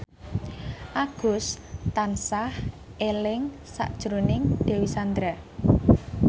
Agus tansah eling sakjroning Dewi Sandra